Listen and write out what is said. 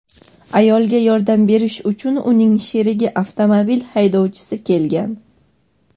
Ayolga yordam berish uchun uning sherigi avtomobil haydovchisi kelgan.